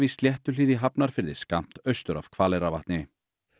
í Sléttuhlíð í Hafnarfirði skammt austur af Hvaleyrarvatni